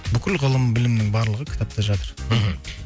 бүкіл ғылым білімнің барлығы кітапта жатыр мхм